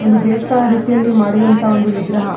ಒಂದು ದೇವಸ್ಥಾನ ರೀತಿಯಲ್ಲಿ ಮಾಡಿರುವಂಥ ಒಂದು ವಿಗ್ರಹ.